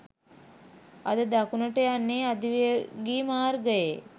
අද දකුණට යන්නේ අධිවේගී මාර්ගයේ